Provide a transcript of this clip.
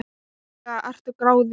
Ferlega ertu gráðug!